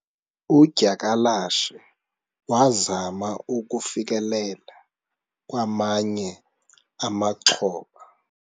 udyakalashe wazama ukufikelela kwamanye amaxhoba